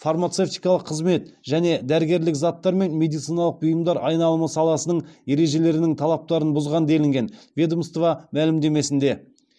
фармацевтикалық қызмет және дәрігерлік заттар мен медициналық бұйымдар айналымы саласының ережелерінің талаптарын бұзған делінген ведомство мәлімдемесінде